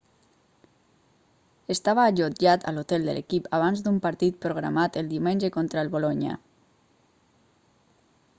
estava allotjat a l'hotel de l'equip abans d'un partit programat el diumenge contra el bolonya